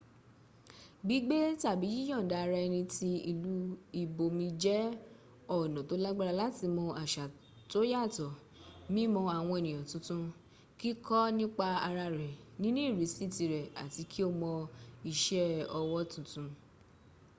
gbígbé tàbí yíyànda ara ẹni tí ìlú ibòmí jẹ́ ọ̀nà tó lágbára láti mọ àṣà tóyàtọ̀ mímọ àwọn ènìyàn tuntun kíkọ́ nípa ara rẹ níní ìrísí tìrẹ àti kí o mọ́ iṣẹ́ ọwọ́ tuntun